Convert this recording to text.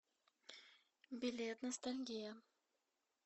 билет ностальгия